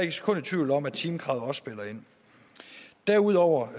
et sekund i tvivl om at timekravet også spiller ind derudover